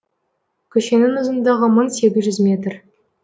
көшенің ұзындығы мың сегіз жүз метр